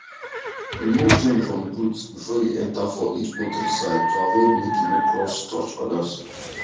remove germs from boots before you enter for each poultry side to avoid make e no cross touch others